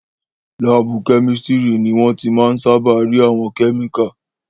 Láàbù kẹ́mísítírì ni wọ́n ti máa n sáábà rí àwọn kẹ́míkà